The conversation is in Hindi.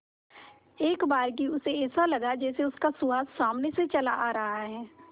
एकबारगी उसे ऐसा लगा जैसे उसका सुहास सामने से चला रहा है